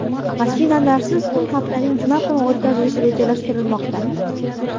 Mashinalarsiz kun haftaning juma kuni o‘tkazilishi rejalashtirilmoqda.